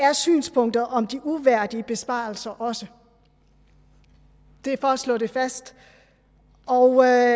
er synspunktet om de uværdige besparelser også det er for at slå det fast og jeg